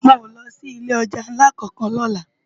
Mi ó lò si ilé òjá nlá kánkán lòlá